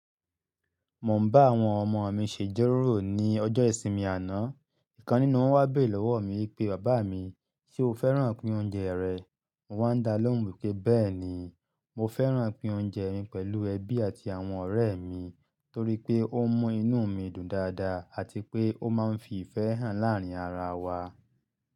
Mo ń bá àwọn ọmọ mi ṣéjọ́ró ni ọjọ́ ìsinmi àná. Ìkan nínú wọn wá béèrè lọ́wọ́ mi wipé, "bàbá mi, ṣe o fẹ́ràn pín oúnjẹ rẹ̀?" Mo wá ń dá lóhùn pé, "bẹ́ẹ̀ni, mo fẹ́ràn pín oúnjẹ mi pẹ̀lú ẹbí àti àwọn ọ̀rẹ́ mi torí pé ó ń mú inú mi dùn dáadáa àti pé ó máa ń fi ìfẹ́ hàn láàrin ara wa."